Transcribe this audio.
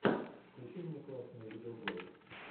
включи мне классные видеоблоги